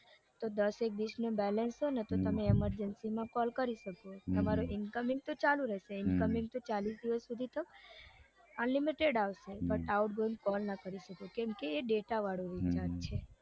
તો દસેક વીસનું balance હોય તો તમે emergency માં માં call કરી શકો તમારું incoming તો ચાલુ રેસે incoming તો ચાલીસ દિવસ સુધી unlimited આવશે પણ outgoing call ના કરી શકો કેમ કે એ ડેટા વાળું રિચાર્જ છે.